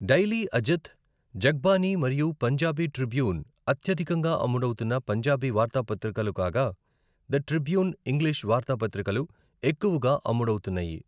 Daily Ajit, Jagbani మరియు Punjabi Tribune అత్యధికంగా అమ్ముడవుతున్న పంజాబీ వార్తాపత్రికలు కాగా, ద ట్రిబ్యూన్ ఇంగ్లిష్ వార్తాపత్రికలు ఎక్కువగా అమ్ముడవుతున్నాయి.